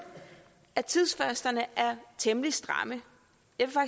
at tidsfristerne er temmelig stramme jeg vil